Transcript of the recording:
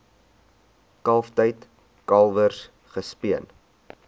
kalftyd kalwers gespeen